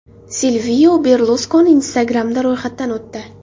Silvio Berluskoni Instagram’da ro‘yxatdan o‘tdi.